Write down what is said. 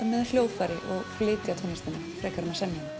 með hljóðfæri og flytja tónlistina frekar en að semja